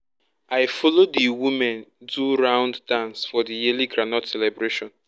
i follow the women do round dance for the yearly groundnut celebration.